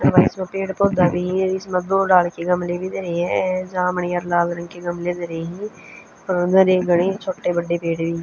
अर भई इसमें पेड़ पौध्या भी ह अर इसमह दो ढाल के गमले भी धरे हंजामणी अर लाल रंग के गमले धरे हं घणे छोटे बड़े पेड़ भी हं.